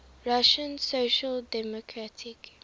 russian social democratic